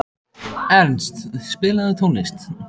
Ernst, spilaðu tónlist.